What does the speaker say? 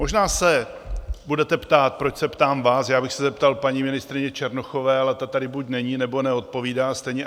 Možná se budete ptát, proč se ptám vás - já bych se zeptal paní ministryně Černochové, ale ta tady buď není, nebo neodpovídá stejně.